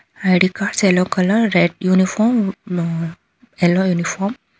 I D cards yellow colour red uniform ಮ yellow uniform .